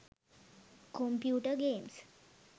computer games